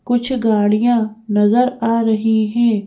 कुछ गाड़ियां नजर आ रही हैं।